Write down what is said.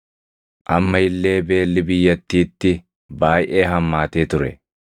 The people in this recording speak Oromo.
Amma illee beelli biyyattiitti baayʼee hammaatee ture.